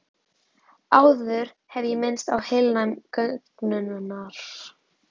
Áður hef ég minnst á heilnæmi göngunnar.